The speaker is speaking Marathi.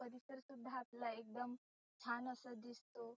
परिसर सुद्धा आपला एकदम छान आसा दिसतो.